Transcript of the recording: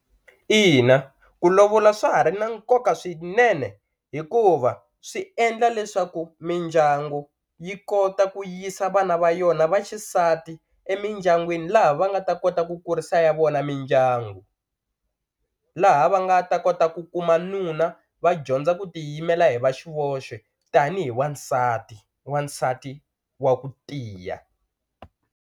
Ina ku lovola swa ha ri na nkoka swinene hikuva swi endla leswaku mindyangu yi kota ku yisa vana va yona va xisati emindyangwini laha va nga ta kota ku ku kurisa ya vona mindyangu laha va nga ta kota ku kuma nuna va dyondza ku tiyimela hi va xivonele tanihi wansati wansati wa ku tiya.